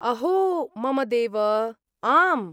अहो! मम देव! आम्!